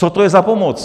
Co to je za pomoc?